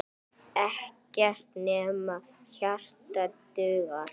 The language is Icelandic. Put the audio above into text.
Ekkert nema hjarta dugar.